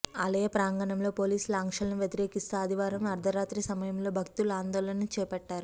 ఆలయ ప్రాంగణంలో పోలీసుల ఆంక్షలను వ్యతిరేకిస్తూ ఆదివారం అర్ధరాత్రి సమయంలో భక్తులు ఆందోళన చేపట్టారు